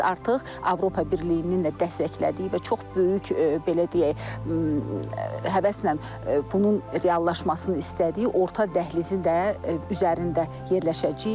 Biz artıq Avropa Birliyinin də dəstəklədiyi və çox böyük belə deyək, həvəslə bunun reallaşmasını istədiyi orta dəhlizin də üzərində yerləşəcəyik.